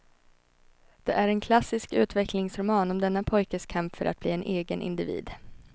Det är en klassisk utvecklingsroman om denna pojkes kamp för att bli en egen individ.